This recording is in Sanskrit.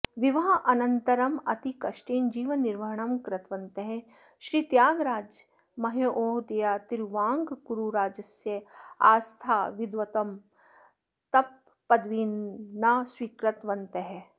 विवाहानतरम् अतिकष्टेन जीवननिर्वहणं कृतवन्तः श्रीत्यागराज महोदयाः तिरुवाङ्कूरुराजस्य आस्थानविद्वत्प त्पदवीं न स्वीकृतवन्तः